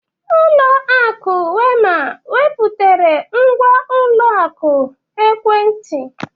Ulọ akụ Wema wepụtara ngwa ụlọ akụ ekwentị.